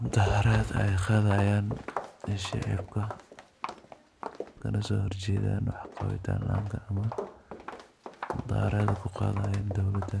Mudaharat Aya qathahayan mesha ergoh kagaso horjeethan amah mudaharat ku qathahayan dowalada